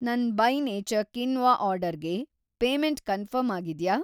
ನನ್‌ by nature quinoa ಆರ್ಡರ್‌ಗೆ‌ payment confirm ಆಗಿದ್ಯಾ?